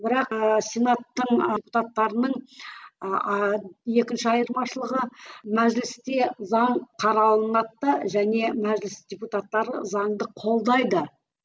бірақ ы сенаттың депутаттарының ы екінші айырмашылығы мәжілісте заң қаралынады да және мәжіліс депутаттары заңды қолдайды